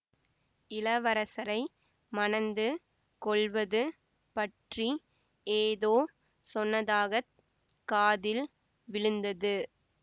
இளவரசரை மணந்து கொள்வது பற்றி ஏதோ சொன்னதாக காதில் விழுந்தது